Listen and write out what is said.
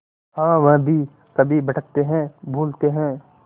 हाँ वह भी कभी भटकते हैं भूलते हैं